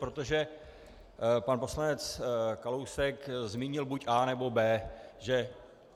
Protože pan poslanec Kalousek zmínil buď A, nebo B, že?